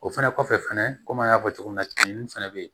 O fɛnɛ kɔfɛ fɛnɛ komi an y'a fɔ cogo min na tumuni fɛnɛ bɛ yen